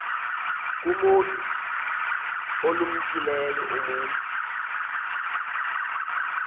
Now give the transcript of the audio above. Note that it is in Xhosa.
kumotu olumkileyo umntu